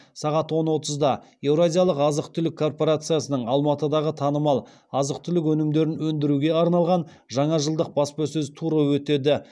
сағат он отызда еуразиялық азық түлік корпорациясының алматыдағы танымал азық түлік өнімдерін өндіруге арналған жаңа жылдық баспасөз туры өтеді